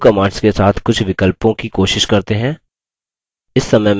अब du command के साथ कुछ विकल्पों की कोशिश करते हैं